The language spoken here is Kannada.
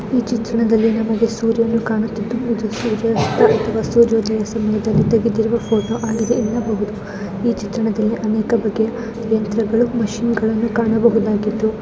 ಈ ಚಿತ್ರದಲ್ಲಿ ನಮಗೆ ಸೂರ್ಯ ಕಾಣುತ್ತಿದ್ದು ಇದು ಸೂರ್ಯ ಮುಳುಗುವ ಸಮಯದಲ್ಲಿ ತೆಗೆದ ಪೋಟೋ ಆಗಿದೆ ಈ ಚಿತ್ರದಲ್ಲಿ ಅನೇಕ ಬಗೆಯ ಮಿಷಿನ್‌ ಗಳನ್ನು ಕಾಣಬಹುದಾಗಿದೆ.